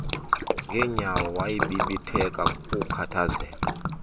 ngenyawo wabibitheka kukukhathazeka